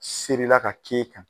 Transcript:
Sirila ka ci